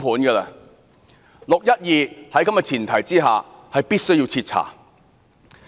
在此前提下，"六一二"事件必須要徹查。